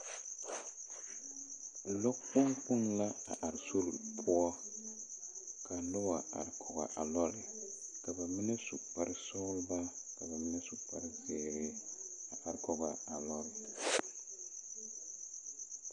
Lɔ kpoŋ kpoŋ la a are sore poɔ ka nobo are kɔg a lɔre ka ba mine su kparesɔglɔ ka ba mine su kparezeere a kɔgaa a lɔre.